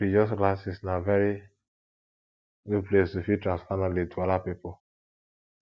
religious classes na very good place to fit transfer knowledge to oda pipo